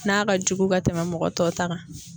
N'a ka jugu ka tɛmɛn mɔgɔ tɔw ta kan